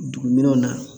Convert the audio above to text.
Dugu minɛnw na